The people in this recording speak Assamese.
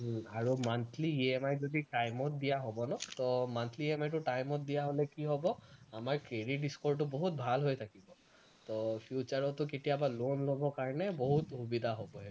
আৰু monthly EMI যদি time ত দিয়া হব ন তো monthly EMI টো time ত দিয়া হলে কি হব আমাৰ credit score টো বহুত ভাল হৈ থাকিব, তো future তো কেতিয়াবা loan লবৰ কাৰণে বহুত সুবিধা হব